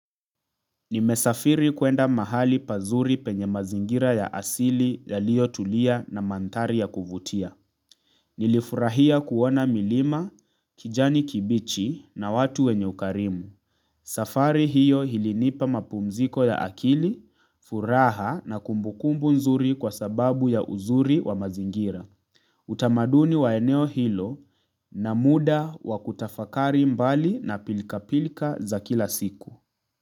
Nimesafiri kuenda mahali pazuri penye mazingira ya asili yaliyotulia na mandhari ya kuvutia. Nilifurahia kuona milima kijani kibichi na watu wenye ukarimu. Safari hiyo ilinipa mapumziko ya akili, furaha na kumbukumbu nzuri kwa sababu ya uzuri wa mazingira. Utamaduni wa eneo hilo na muda wa kutafakari mbali na pilka-pilka za kila siku.